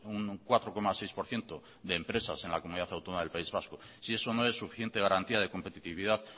un cuatro coma seis por ciento de empresas en la comunidad autónoma del país vasco si eso no es suficiente garantía de competitividad